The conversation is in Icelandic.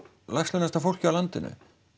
lægst launaða fólkið á landinu